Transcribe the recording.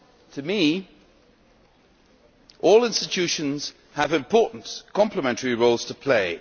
To me, all institutions have important, complementary roles to play.